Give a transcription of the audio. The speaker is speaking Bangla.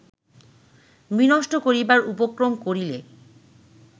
বিনষ্ট করিবার উপক্রম করিলে